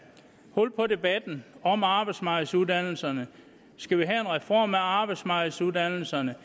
hul på debatten om arbejdsmarkedsuddannelserne skal vi have en reform af arbejdsmarkedsuddannelserne